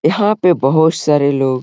यहां पे बोहोत सारे लोग --